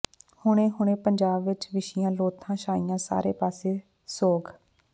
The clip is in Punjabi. ਹੁਣੇ ਹੁਣੇ ਪੰਜਾਬ ਚ ਵਿਛੀਆਂ ਲੋਥਾਂ ਛਾਇਆ ਸਾਰੇ ਪਾਸੇ ਸੋਗ